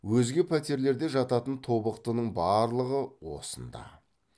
өзге пәтерлерде жататын тобықтының барлығы осында